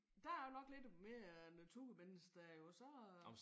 Der er jeg jo nok lidt mere naturmenneske der jo så